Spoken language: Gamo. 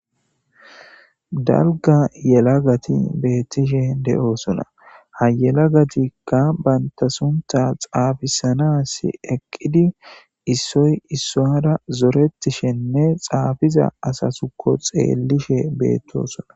dalga yelagati beettishe de'osona ha yelagatikka banta sunta xaafisanas eqqidi issoy issoara zoretishenne xaafiza asasuko xeellishe beettosona